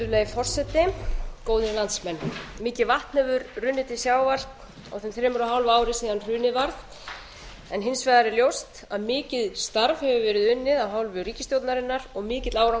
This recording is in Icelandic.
virðulegi forseti góðir landsmenn mikið vatn hefur runnið til sjávar á þeim þremur og hálfa ári síðan hrunið varð en hins vegar er ljóst að mikið starf hefur verið unnið af hálfu ríkisstjórnarinnar og mikill árangur